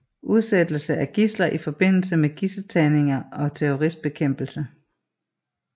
Undsættelse af gidsler i forbindelse med gidseltagninger og terroristbekæmpelse